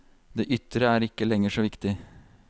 Det ytre er ikke lenger så viktig.